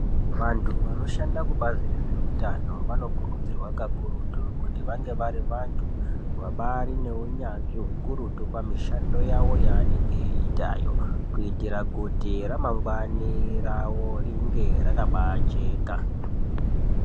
Vantu vanoshanda kubazi rezveutano vanokurudzirwa kakurutu kuti vange vari vantu vabaari neunyanzvi hukurutu pamishando yavo yaanenge eiitayo. Kuitira kuti ramangwani ravo ringe rakabaajeka.